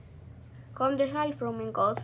Komdu sæl, frú mín góð.